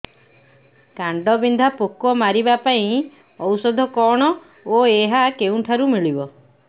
କାଣ୍ଡବିନ୍ଧା ପୋକ ମାରିବା ପାଇଁ ଔଷଧ କଣ ଓ ଏହା କେଉଁଠାରୁ ମିଳିବ